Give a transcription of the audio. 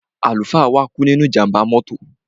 Àlùfáà wa kú nínú ìjàmbá mọ́tò.